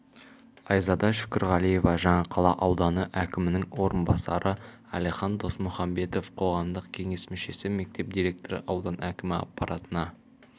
айзада шүкірғалиева жаңақала ауданы әкімінің орынбасары әлихан досмұхамбетов қоғамдық кеңес мүшесі мектеп директоры аудан әкімі аппаратына